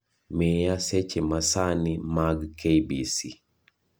miya seche masani mag kbc